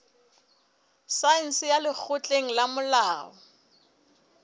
saense ya lekgotleng la molao